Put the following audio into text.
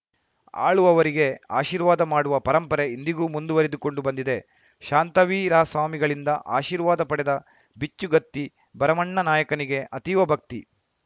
ಆಳುವವರಿಗೆ ಆಶೀರ್ವಾದ ಮಾಡುವ ಪರಂಪರೆ ಇಂದಿಗೂ ಮುಂದುವರಿದುಕೊಂಡು ಬಂದಿದೆ ಶಾಂತವೀರಸ್ವಾಮಿಗಳಿಂದ ಆಶೀರ್ವಾದ ಪಡೆದ ಬಿಚ್ಚುಗತ್ತಿ ಭರಮಣ್ಣನಾಯಕನಿಗೆ ಅತೀವ ಭಕ್ತಿ